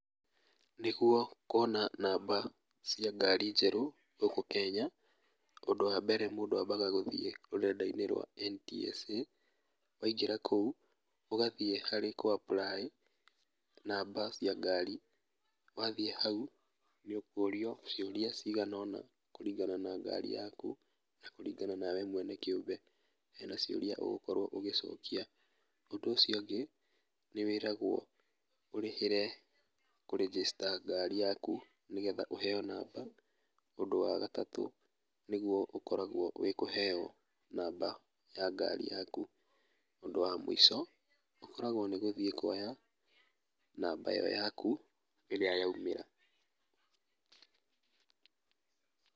Nĩguo kuona namba cia ngari njerũ, gũkũ kenya, ũndũ wambere mũndũ ambaga gũthi rũrenda-inĩ rwa NTSA, waingĩra kũu, ũgathĩ harĩ kũ apply namba cia ngari, wathiĩ hau, nĩũkũrio ciũria ciganona kũringana na ngari yaku, na kũringana nawe kĩũmbe hena ciũria ũgũkorwo ũgĩcokia, undũ ũcio ũngĩ, nĩwĩragwo ũrĩhĩre kũ register ngari yaku nĩgetha ũheo namba, ũndũ wa gatatũ nĩguo ũkoragwo wĩ kũheo namba ya ngari yaku, ũndũ wa mũico, ũkoragwo nĩ gũthiĩ kuoya namba yaku ĩrĩa yaumĩra.